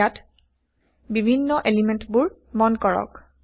ইয়াত বিভিন্ন এলিমেন্টবোৰ মন কৰক